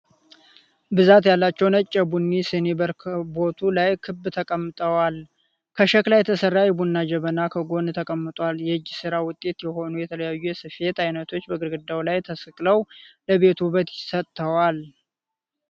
ብዛት ያላቸዉ ነጭ የቡና ስኒ በረከቦቱ ላይ ክብ ተቀምጠዋል። ከሸክላ የተሰራ የቡና ጀበና ከጎን ተቀምጧል። የእጅ ስራ ዉጤት የሆኑ የተለያዩ የስፌት አይነቶች በግርግዳዉ ላይ ተሰቅለዉ ለቤቱ ዉበት ሰጠዉታል።